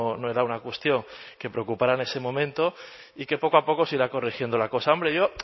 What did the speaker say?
no era una cuestión que preocupara en ese momento y que poco a poco se irá corrigiendo la cosa hombre yo